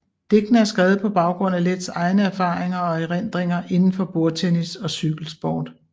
Digtene er skrevet på baggrund af Leths egne erfaringer og erindringer indenfor bordtennis og cykelsport